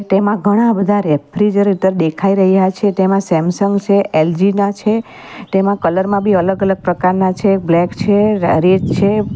તેમાં ઘણા બધા રેફ્રિજરેટર દેખાઈ રહ્યા છે તેમાં સેમસંગ છે એલ_જી ના છે તેમાં કલર માં બી અલગ-અલગ પ્રકારના છે બ્લેક છે રેડ છે.